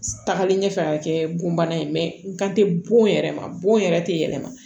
Tagalen ɲɛfɛ ka kɛ bon bana ye n kan tɛ bon yɛrɛ ma bon yɛrɛ tɛ yɛlɛma